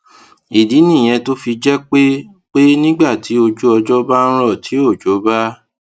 ìdí nìyẹn tó fi jé pé pé nígbà tí ojú ọjó bá ń rò tí òjò bá